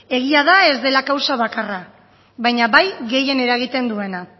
egia da ez dela kausa bakarra baina bai gehien eragiten duena